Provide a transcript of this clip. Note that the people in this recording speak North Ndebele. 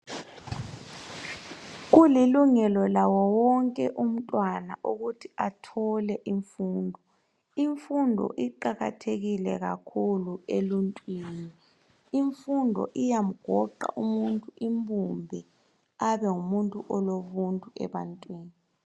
Kulilungelo lawo wonke umntwana ukuthi athole imfundo. Imfundo iqakathekile kakhulu emuntwini. Imfundo iyamgoqa umuntu imbumbe abe ngumuntu olobuntu ebantwini.